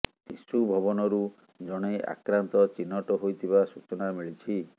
ଶିଶୁ ଭବନରୁ ଜଣେ ଆକ୍ରାନ୍ତ ଚିହ୍ନଟ ହୋଇଥିବା ସୂଚନା ମିଳିଛି